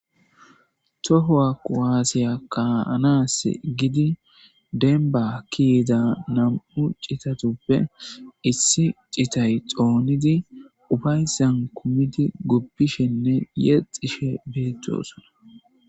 Tohowa quwaasiya kaanas gidi denba kiida nam7u citatuppe issi citay xoonidi ufaysan kumiti goppishenne yexxishe beettosona.